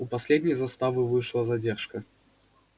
у последней заставы вышла задержка